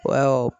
Awɔ